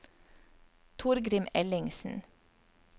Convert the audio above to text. Torgrim Ellingsen